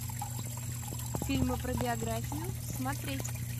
фильмы про биографию смотреть